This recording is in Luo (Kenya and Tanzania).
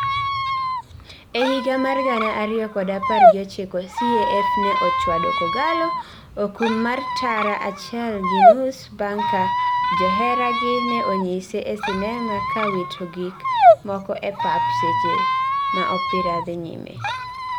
e higa mar gana ariyokod apar gi ochiko, CAF ne ochwado K'Ogalo okum mar tara achiel gi nus bang ka joheragi ne onyise e sinema ka wito gik moko e pap seche ma opira dhi nyime